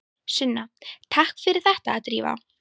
Sunna: Takk fyrir þetta Drífa.